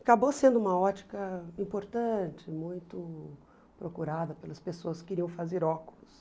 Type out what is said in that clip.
Acabou sendo uma ótica importante, muito procurada pelas pessoas que queriam fazer óculos.